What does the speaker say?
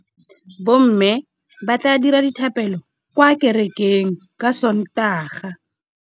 Bommê ba tla dira dithapêlô kwa kerekeng ka Sontaga.